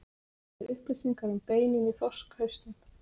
Við getum gefið upplýsingar um beinin í þorskhausnum.